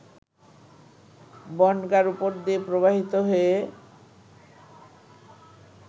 বনগাঁর উপর দিয়ে প্রবাহিত হয়ে